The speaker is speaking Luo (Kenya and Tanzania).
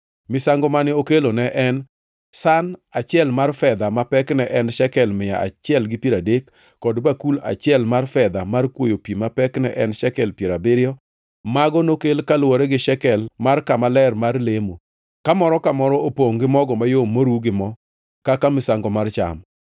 Misango mane okelo ne en san achiel mar fedha ma pekne ne en shekel mia achiel gi piero adek, kod bakul achiel mar fedha mar kwoyo pi ma pekne ne en shekel piero abiriyo. Mago nokel kaluwore gi shekel mar kama ler mar lemo, ka moro ka moro opongʼ gi mogo mayom moru gi mo kaka misango mar cham;